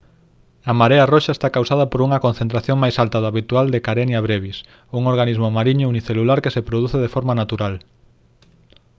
a marea roxa está causada por unha concentración máis alta do habitual de «karenia brevis» un organismo mariño unicelular que se produce de forma natural